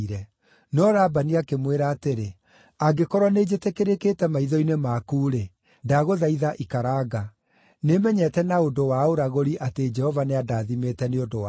No Labani akĩmwĩra atĩrĩ, “Angĩkorwo nĩnjĩtĩkĩrĩkĩte maitho-inĩ maku-rĩ, ndagũthaitha ikaranga. Nĩmenyete na ũndũ wa ũragũri atĩ Jehova nĩandathimĩte nĩ ũndũ waku.”